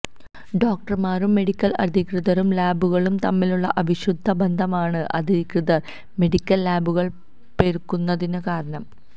ഡോക്ടര്മാരും medical അധികൃതരും ലാബുകളും തമ്മിലുള്ള അവിശുദ്ധ ബന്ധമാണ് അനധികൃത മെഡിക്കല് ലാബുകള് പെരുകുന്നതിന് കാരണം